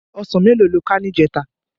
Òsán méló ló ká nijètá?